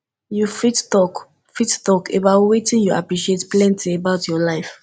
you fit talk fit talk about wetin you appreciate plenty about your life